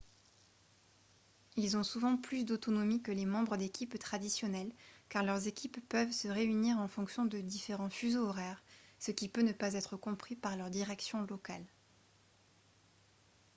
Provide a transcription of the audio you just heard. ils ont souvent plus d'autonomie que les membres d'équipe traditionnels car leurs équipes peuvent se réunir en fonction de différent fuseaux horaires ce qui peut ne pas être compris par leur direction locale